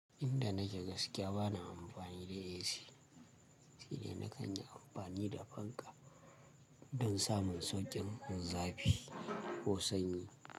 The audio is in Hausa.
Inda nake gaskiya bana amfani da AC shine na kan yi amfani da fanka don samun sauƙin zafi ko sanyi.